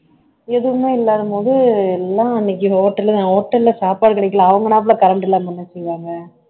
எதுவுமே இல்லாத போது எல்லாம் அன்னைக்கு hotel hotel ல சாப்பாடு கிடைக்கல அவங்கனாப்புல current இல்லாம என்ன செய்வாங்க